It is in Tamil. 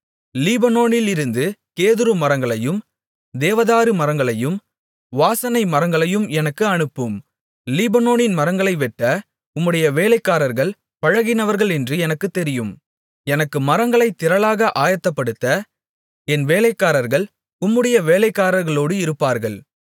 லீபனோனிலிருந்து கேதுரு மரங்களையும் தேவதாரு மரங்களையும் வாசனை மரங்களையும் எனக்கு அனுப்பும் லீபனோனின் மரங்களை வெட்ட உம்முடைய வேலைக்காரர்கள் பழகினவர்களென்று எனக்குத் தெரியும் எனக்கு மரங்களைத் திரளாக ஆயத்தப்படுத்த என் வேலைக்காரர்கள் உம்முடைய வேலைக்காரர்களோடு இருப்பார்கள்